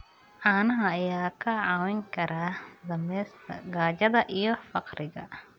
Caanaha ayaa kaa caawin kara dhimista gaajada iyo faqriga.